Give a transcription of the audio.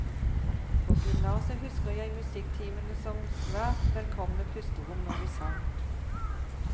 På gymnaset husker jeg musikktimene som svært velkomne pusterom når vi sang.